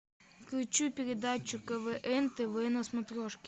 включи передачу квн тв на смотрешке